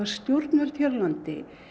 stjórnvöld hér á landi